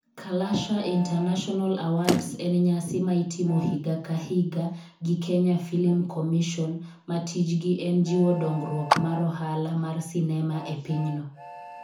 Kalasha International Awards en nyasi ma itimo higa ka higa gi Kenya Film Commission ma tijgi en jiwo dongruok mar ohala mar sinema e pinyno.